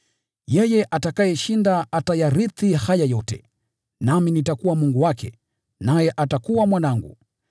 Yeye ashindaye atayarithi haya yote, nami nitakuwa Mungu wake, naye atakuwa mwanangu.